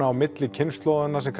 á milli kynslóða sem